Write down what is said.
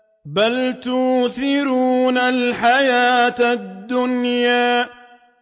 بَلْ تُؤْثِرُونَ الْحَيَاةَ الدُّنْيَا